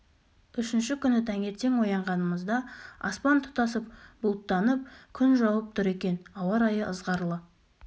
үшінші күні таңертең оянғанымызда аспан тұтасып бұлттанып күн жауып тұр екен ауа райы ызғарлы